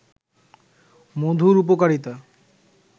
মধুর উপকারিতা